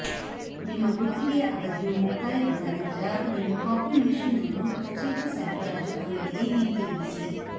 ನಿಮ್ಮ ಗುತ್ತಿಗೆಯ ಅವಧಿಯು ಮುಕ್ತಾಯಗೊಂಡ ನಂತರ ನೀವು ಕಾಪಿ ಮೆಷಿನ್ ಅನ್ನು ಕಚೇರಿ ಸರಬರಾಜು ಅಂಗಡಿಗೆ ಹಿಂತಿರುಗಿಸಿ